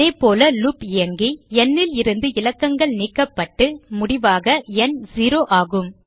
அதேபோல லூப் இயங்கி n லிருந்து இலக்கங்கள் நீக்கப்பட்டு முடிவாக ந் செரோ ஆகும்